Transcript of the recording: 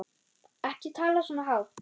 Ekki tala svona hátt.